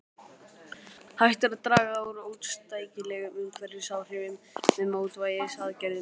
Hægt er að draga úr óæskilegum umhverfisáhrifum með mótvægisaðgerðum.